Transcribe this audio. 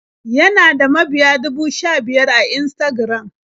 Yana da mabiya dubu sha-biyar a Instagram.